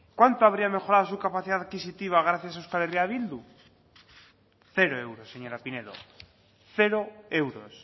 cuánto habría mejorado su capacidad adquisitiva gracias a euskal herria bildu cero euros señora pinedo cero euros